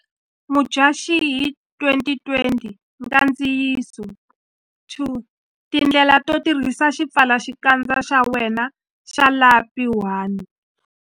Mudyaxihi 2020 Nkandziyiso 2 Tindlela to tirhisa xipfalaxikandza xa wena xa lapi 1.